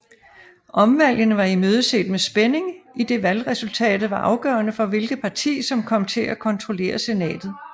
Omvalgene var imødeset med spænding idet valgresultatet var afgørerende for hvilket parti som kom til at kontrollere Senatet